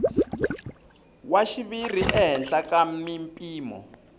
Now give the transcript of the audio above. wa xiviri ehenhla ka mimpimo